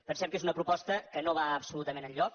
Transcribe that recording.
pensem que és una proposta que no va absolutament enlloc